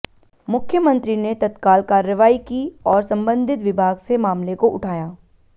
मुख्यमंत्री ने तत्काल कार्रवाई की और संबंधित विभाग से मामले को उठाया